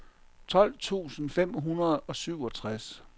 tolv tusind fem hundrede og syvogtres